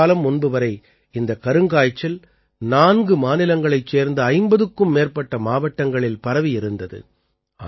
சில காலம் முன்பு வரை இந்தக் கருங்காய்ச்சல் 4 மாநிலங்களைச் சேர்ந்த 50க்கும் மேற்பட்ட மாவட்டங்களில் பரவியிருந்தது